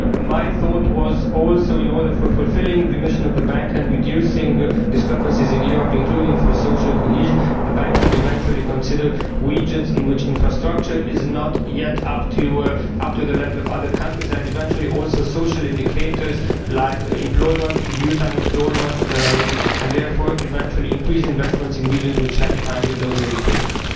My thought was also that, in order to fulfil the mission of the Bank and reduce discrepancies in Europe, including for social cohesion, the Bank should maybe consider regions in which infrastructure is not yet up to the level of other countries and possibly also social indicators like employment, youth unemployment, and therefore, possibly, increased investment in regions which lag behind in those indicators.